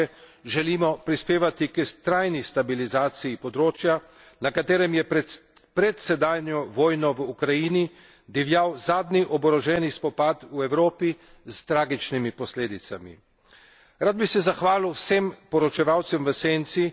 Z evropsko perspektivo preostalih držav bivše Jugoslavije želimo prispevati k trajni stabilizaciji področja, na katerem je pred sedanjo vojno v Ukrajini divjal zadnji oboroženi spopad v Evropi s tragičnimi posledicami.